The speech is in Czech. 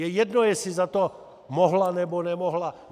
Je jedno, jestli za to mohla, nebo nemohla.